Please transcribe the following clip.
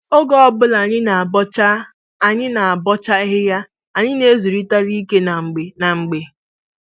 Oge ọbụla anyị ga-abọcha anyị ga-abọcha ahịhịa, anyị na-ezurịtara ike na mgbe na mgbe